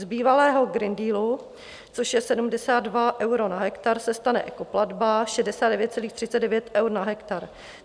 Z bývalého Green Dealu, což je 72 eur na hektar, se stane ekoplatba 69,39 eura na hektar.